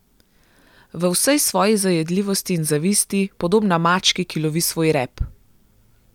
V vsej svoji zajedljivosti in zavisti, podobna mački, ki lovi svoj rep.